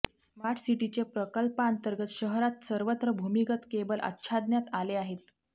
smart सिटीचे प्रकल्पातंर्गत शहरात सर्वत्र भुमिगत केबल आच्छादण्यात आले आहेत